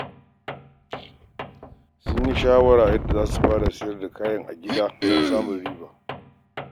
Sun yi shawara kan yadda za su fara siyar da kayayyaki a gida don samun riba.